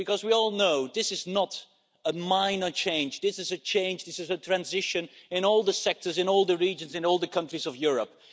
Because we all know this is not a minor change, this is a change, this is a transition in all the sectors, in all the regions, in all the countries of Europe.